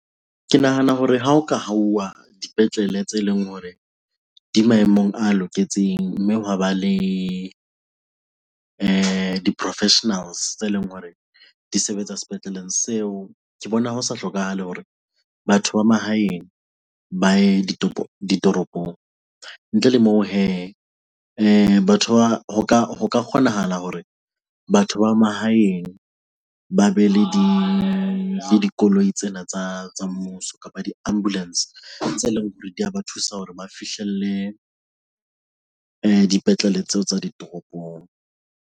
Ke nahana hore ha ho ka hauwa dipetlele tse leng hore di maemong a loketseng mme hwa ba le di-professionals tse leng hore di sebetsa sepetleleng seo, ke bona ho sa hlokahale hore batho ba mahaeng ba ye ditoropong. Ntle le moo hee batho ba, ho ka kgonahala hore batho ba mahaeng ba be le dikoloi tsena tsa mmuso kapa di ambulance tse leng hore di a ba thusa hore ba fihlelle dipetlele tseo tsa di toropong.